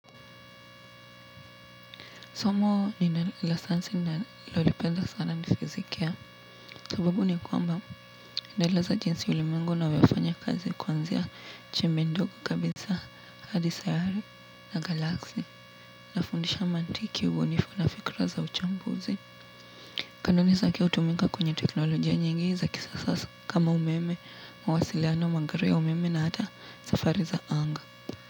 Somo la sayansi ninalolipenda sana ni fizikia. Sababu ni kwamba inaeleza jinsi ulimwengu unavyofanya kazi kuanzia chembe ndogo kabisa hadi sayari na galaksi. Inafundisha mantiki, ubunifu na fikra za uchambuzi. Kanuni zakime hutuminka kwenye teknolojia nyingi za kisasa kama umeme, mawasiliano, magari ya umeme na hata safari za anga.